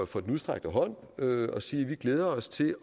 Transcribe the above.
for den udstrakte hånd og sige at vi glæder os til